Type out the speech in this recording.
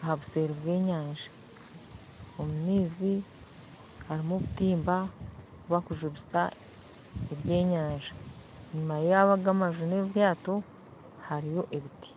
aha obuseri bw'enyanja omumaizi harumu obutimba bubakujubisa ebyenyanja enyuma yago amaju n'obwato hariyo ebiti .